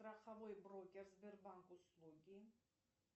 страховой брокер сбербанк услуги